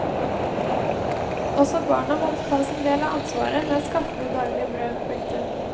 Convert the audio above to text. Også barna måtte ta sin del av ansvaret med å skaffe det daglige brød. punktum